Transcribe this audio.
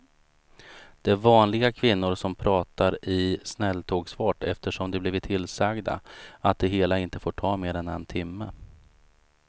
Det är vanliga kvinnor som pratar i snälltågsfart eftersom de blivit tillsagda att det hela inte får ta mer än en timme.